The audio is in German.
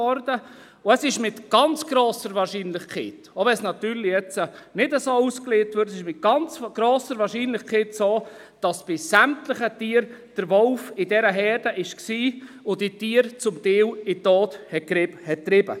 Zudem ist es mit ganz grosser Wahrscheinlichkeit so, dass bei sämtlichen Tieren der Wolf in dieser Herde war und diese Tiere teilweise in den Tod getrieben hat, auch wenn dies jetzt natürlich nicht so ausgelegt wird.